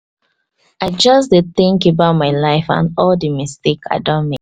i just dey tink about my life and all the mistake i don